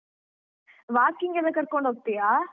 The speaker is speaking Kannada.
Walking ಎಲ್ಲ ಕರ್ಕೊಂಡ್ ಹೋಗ್ತಿಯ?